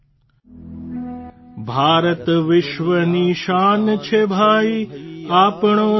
Maithili sound clip 30 seconds Hindi translation